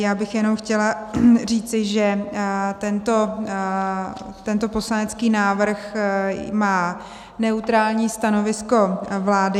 Já bych jenom chtěla říci, že tento poslanecký návrh má neutrální stanovisko vlády.